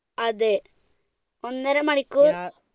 അതെ, ഒന്നര മണിക്കൂർ